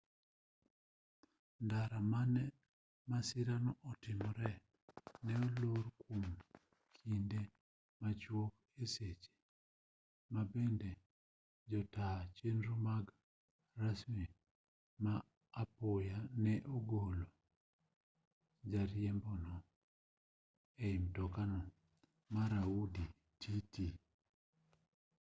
ndara mane masirano otimoree ne olor kwom kinde machwok e seche ma bende jotaa chenro mag masirni ma apoya ne ogolo jariembono e mtokano mar audi tt